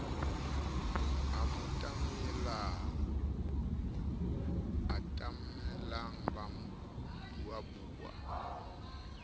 a mo atamela ba buabua